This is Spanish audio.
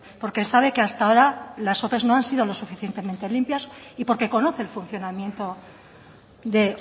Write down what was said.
porque sabe que hasta ahora las ope no han sido lo suficientemente limpias y porque conoce el funcionamiento de